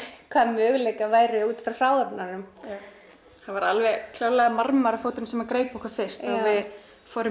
möguleikar væru út frá hráefninu það var klárlega marmarafóturinn sem greip okkur fyrst og við fórum